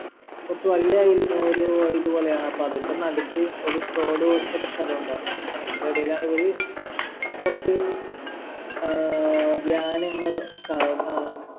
കൊറച്ച് വല്യയിൽ ഏർ ഒരു വ ഇത് പോലെയാണ് അപ്പൊ അതിൻ്റെ നടുക്ക് ഒരു തോട്പോലത്തൊരു സ്ഥലഉണ്ടായിരുന്നു അതിൻ്റെ ഇടയിലാണിവർ കൊറച്ച് ആഹ് ധ്യാനങ്ങൾ അഹ്